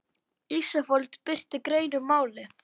Ísafold birti grein um málið